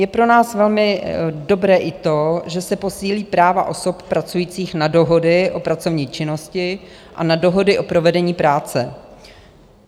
Je pro nás velmi dobré i to, že se posílí práva osob pracujících na dohody o pracovní činnosti a na dohody o provedení práce.